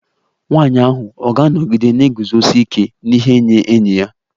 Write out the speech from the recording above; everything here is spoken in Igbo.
Nwanyị ahụ ọ̀ ga-anọgide na-eguzosi ike n'ihe nye enyi ya?